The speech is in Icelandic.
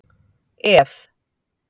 Ð